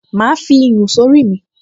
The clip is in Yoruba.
Màá fi iyùn sórí mi